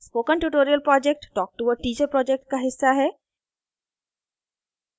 spoken tutorial project talktoa teacher project का हिस्सा है